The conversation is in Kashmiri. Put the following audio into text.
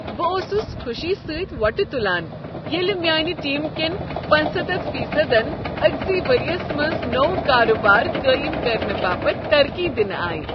بہٕ اوسس خوشی سۭتۍ وۄٹہٕ تلان ییٚلہ میٛٲنہِ ٹیٖمہٕ كٮ۪ن پنٔژستتھ فیصدن أکسٕے ؤریس منٛز نوٚو کاربار قٲیم کرنہٕ باپتھ ترقی دنہٕ آیہ